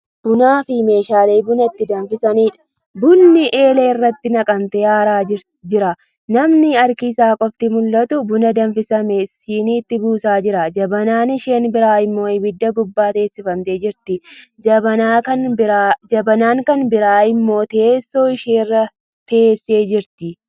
Bunaafi meeshaalee buna ittiin danfisaniidha. bunni eelee irratti naqamee aaraa jira. namni harki Isaa qofti mul'atu buna danfifame siiniitti buusaa jira. jabanaan isheen biraa immoo abidda gubbaa teessiffamtee jirti. jabanaan Kan biraa immoo teessoo isheerra teessee jirtu.